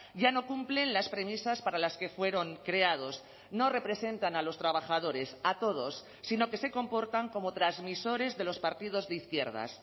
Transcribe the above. ya no cumplen las premisas para las que fueron creados no representan a los trabajadores a todos sino que se comportan como transmisores de los partidos de izquierdas